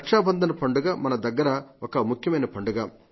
రక్షాబంధన్ పండుగ మన దగ్గర ఒక ముఖ్యమైన పండుగ